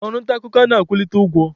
Ọrụ nta akụkọ anaghị akwụlite ụgwọ.